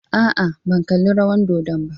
A'a, ban kalli rawar dodon ba.